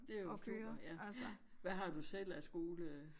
Det jo super ja. Hvad har du selv af skole?